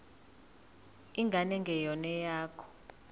ingane engeyona eyakho